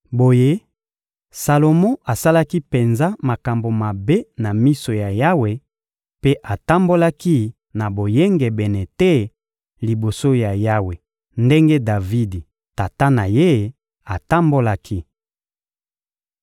Boye, Salomo asalaki penza makambo mabe na miso ya Yawe mpe atambolaki na boyengebene te liboso ya Yawe ndenge Davidi, tata na ye, atambolaki.